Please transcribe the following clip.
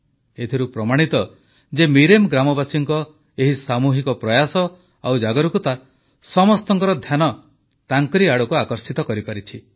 ଏଥିରୁ ପ୍ରମାଣିତ ଯେ ମିରେମ୍ ଗ୍ରାମବାସୀଙ୍କ ଏହି ସାମୁହିକ ପ୍ରୟାସ ଆଉ ସଚେତନତା ସମସ୍ତଙ୍କର ଧ୍ୟାନ ତାଙ୍କ ଆଡ଼କୁ ଆକର୍ଷିତ କରିପାରିଛି